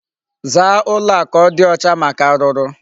Zaa ụlọ a ka ọ dị ọcha maka arụrụ.